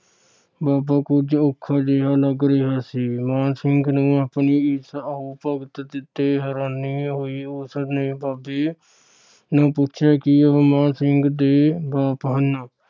ਬਾਬਾ ਕੁਝ ਔਖਾ ਜਿਹਾ ਲੱਗ ਰਿਹਾ ਸੀ। ਮਾਣ ਸਿੰਘ ਨੂੰ ਆਪਣੀ ਇਸ ਆਓ ਭਗਤ ਤੇ ਹੈਰਾਨੀ ਹੋਈ। ਉਸ ਨੇ ਬਾਬੇ ਨੂੰ ਪੁੱਛਿਆ ਕਿ ਮਾਣ ਸਿੰਘ ਦੇ ਬਾਪ ਹਨ।